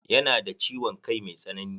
Ya na da ciwon kai mai tsanani.